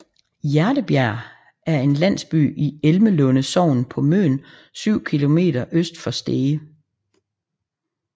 Hjertebjerg er en landsby i Elmelunde Sogn på Møn 7 km øst for Stege